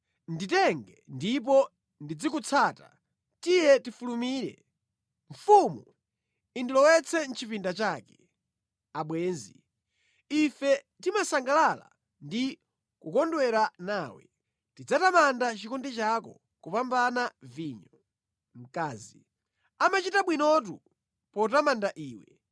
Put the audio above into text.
Nditenge ndipo ndizikutsata, tiye tifulumire! Mfumu indilowetse mʼchipinda chake. Abwenzi Ife timasangalala ndi kukondwera nawe, tidzatamanda chikondi chako kupambana vinyo. Mkazi Amachita bwinotu potamanda iwe!